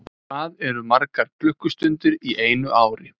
Hvað eru margar klukkustundir í einu ári?